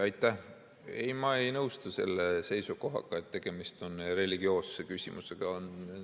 Ei, ma ei nõustu selle seisukohaga, et tegemist on religioosse küsimusega.